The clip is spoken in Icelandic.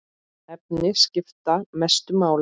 Efnin skipta mestu máli.